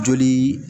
Joli